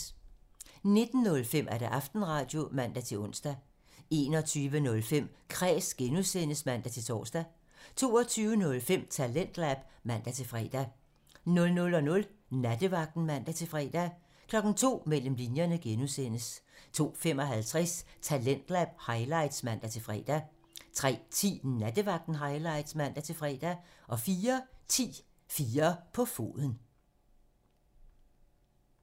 19:05: Aftenradio (man-ons) 21:05: Kræs (G) (man-tor) 22:05: Talentlab (man-fre) 00:00: Nattevagten (man-fre) 02:00: Mellem linjerne (G) 02:55: Talentlab highlights (man-fre) 03:10: Nattevagten Highlights (man-fre) 04:10: 4 på foden